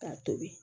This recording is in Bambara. K'a tobi